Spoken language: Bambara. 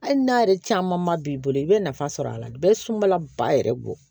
Hali n'a yɛrɛ caman ba b'i bolo i bɛ nafa sɔrɔ a la bɛɛ sunbala ba yɛrɛ bɔ